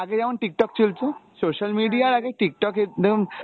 আগে যেমন Tiktok চলতো, social media এর আগে Tiktok একদম